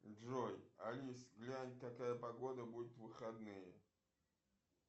джой алис глянь какая погода будет в выходные